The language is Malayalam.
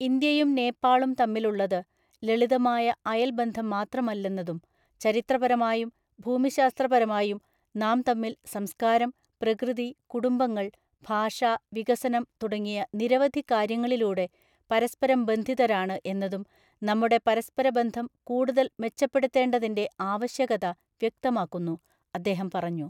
ഇന്ത്യയും നേപ്പാളും തമ്മിലുള്ളത് ലളിതമായ അയല്‍ ബന്ധം മാത്രമല്ലെന്നതും ചരിത്രപരമായും ഭൂമിശാസ്ത്രപരമായും നാം തമ്മില്‍ സംസ്കാരം, പ്രകൃതി, കുടുംബങ്ങള്‍, ഭാഷ, വികസനം തുടങ്ങിയ നിരവധി കാര്യങ്ങളിലൂടെ പരസ്പരം ബന്ധിതരാണ് എന്നതും നമ്മുടെ പരസ്പര ബന്ധംകൂടുതല്‍ മെച്ചപ്പെടുത്തേണ്ടതിന്‍റെ ആവശ്യകത വ്യക്തമാക്കുന്നു, അദ്ദേഹം പറഞ്ഞു.